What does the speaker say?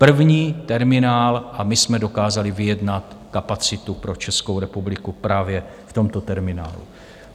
První terminál - a my jsme dokázali vyjednat kapacitu pro Českou republiku právě v tomto terminálu.